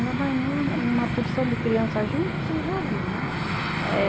Ainda mais uma porção de criança junto, você já viu, né? Eh